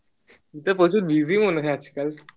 তুই তো প্রচুর busy মনে হয় আজকাল